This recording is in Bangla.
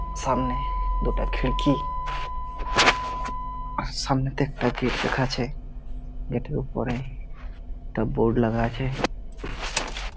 সামনে দুটো খিরকি। আর সামনেতে একটা গেট দেখাছে। গেট - এর উপরে একটা বোর্ড লাগা আছে।